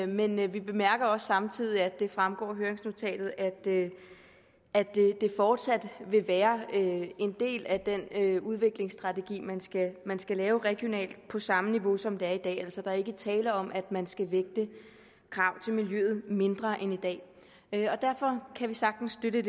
men vi bemærker samtidig at det fremgår af høringsnotatet at det fortsat vil være en del af den udviklingsstrategi man skal lave regionalt på samme niveau som det er i dag altså at der ikke er tale om at man skal vægte krav til miljøet mindre end i dag derfor kan vi sagtens støtte